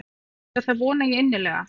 Já það vona ég innilega.